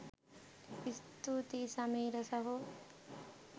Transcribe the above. ස්තුතියි සමීර සහෝ